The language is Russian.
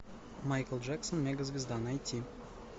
майкл джексон мегазвезда найти